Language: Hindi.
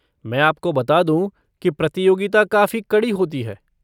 मैं आपको बता दूँ कि प्रतियोगिता काफ़ी कड़ी होती है।